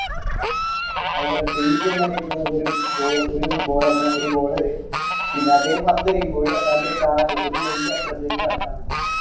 അതുപോലെ free hit എന്ന് അറിയപ്പെടുന്നത് ഒരു ബോ ഒരു bowler റിനെ ഒരു bowler പിന്നെ അദ്ദേഹം പന്തെറിയുമ്പോഴ് കാല് ഒരു line ന്റെ അപ്പുറത്തേക്ക് കടക്കാൻ പറ്റൂല്ല.